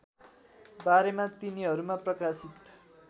बारेमा तिनीहरूमा प्रकाशित